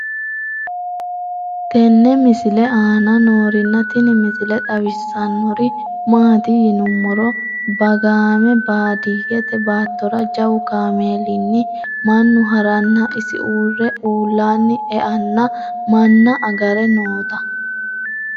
tenne misile aana noorina tini misile xawissannori maati yinummoro baggaamme baadiyeette baattora jawu kaameellinni mannu harranna isi uure uulanni eanno manna agare nootta